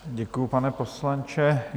Děkuji, pane poslanče.